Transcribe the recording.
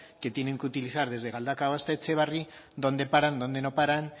que tienen que utilizar desde galdakao hasta etxebarri dónde paran dónde no paran